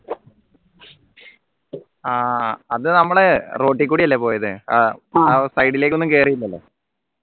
ആഹ് അത് നമ്മളെ road കൂടിയല്ലേ പോയത് അഹ് side ലേക്കൊന്നു കേറീല്ലല്ലോ